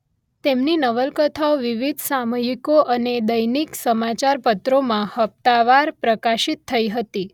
તેમની નવલકથાઓ વિવિધ સામયિકો અને દૈનિક સમાચારપત્રોમાં હપ્તાવાર પ્રકાશિત થઇ હતી